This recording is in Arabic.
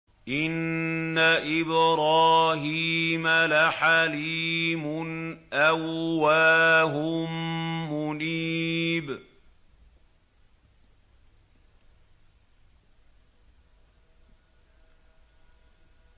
إِنَّ إِبْرَاهِيمَ لَحَلِيمٌ أَوَّاهٌ مُّنِيبٌ